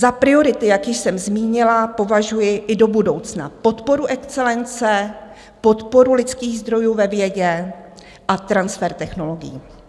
Za priority, jak již jsem zmínila, považuji i do budoucna podporu excelence, podporu lidských zdrojů ve vědě a transfer technologií.